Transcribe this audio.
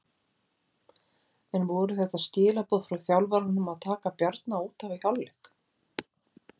En voru þetta skilaboð frá þjálfaranum að taka Bjarna útaf í hálfleik?